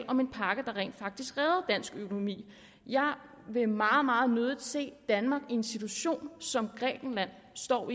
om en pakke der rent faktisk redder dansk økonomi jeg vil meget meget nødig se danmark i en situation som den grækenland står